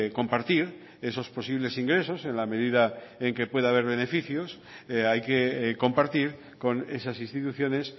compartir esos posibles ingresos en la medida en que pueda haber beneficios hay que compartir con esas instituciones